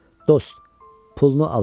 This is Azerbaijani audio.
Dost, pulunu ala.